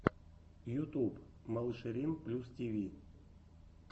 ютуб малышерин плюс тиви